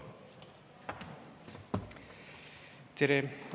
Tere!